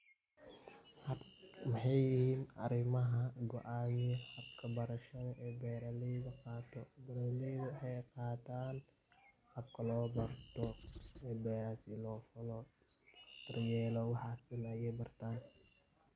hababka waxay yihiin arimaha go"an habka berashada ee beraleyda ay qataan habka loo berto iyo beraha sidi loo falo daryelo waxay bartaan